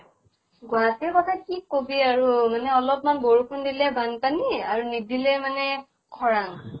গুৱাহাটীৰ কথা কি কবি আৰু। মানে অলপ্মান বৰষুন দিলেই বান্পানী আৰু নিদিলে মানে খৰাং।